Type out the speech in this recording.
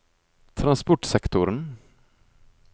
transportsektoren